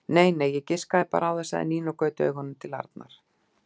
Nei nei, ég giskaði bara á það sagði Nína og gaut augunum til Arnar.